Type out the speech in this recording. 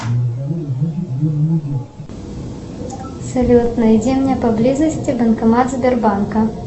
салют найди мне поблизости банкомат сбербанка